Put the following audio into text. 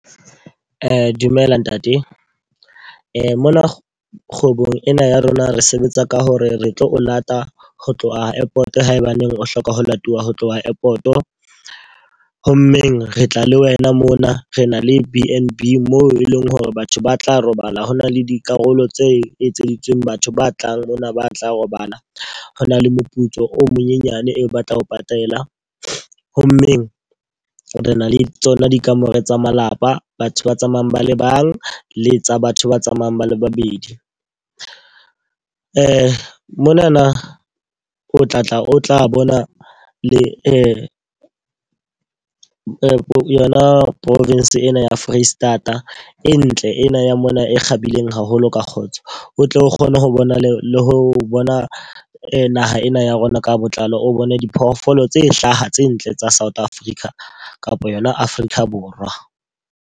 Dumela ntate. Mona kgwebong ena ya rona re sebetsa ka hore re tlo o lata ho tloha airport haebaneng o hloka ho latuwa ho tloha airport. Ho mmeng re tla le wena mona, re na le B_N_B moo e leng hore batho ba tla robala. Ho na le dikarolo tse etseditsweng batho ba tlang mona ba tla robala. Ho na le moputso o monyenyane eo ba tla ho patala. Ho mmeng re na le tsona dikamore tsa malapa, batho ba tsamayang ba le bang, le tsa batho ba tsamayang ba le babedi. Monana o tla tla o tla bona le yona province ena ya Foreisetata e ntle ena ya mona e kgabileng haholo ka kgotso. O tle o kgone ho bona le ho bona naha ena ya rona ka botlalo, o bone diphoofolo tse hlaha tse ntle tsa South Africa kapa yona Afrika Borwa.